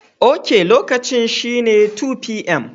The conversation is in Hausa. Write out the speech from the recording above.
Ok, lokacin shine 2pm.